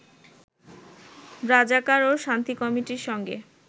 রাজাকার ও শান্তি কমিটির সঙ্গে